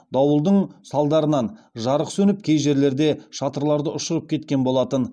дауылдың салдарынан жарық сөніп кей жерлерде шатырларды ұшырып кеткен болатын